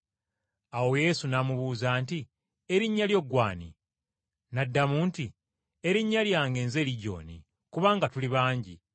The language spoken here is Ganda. Awo Yesu n’amubuuza nti, “Erinnya lyo ggw’ani?” N’addamu nti, “Erinnya lyange nze Ligyoni, kubanga tuli bangi.”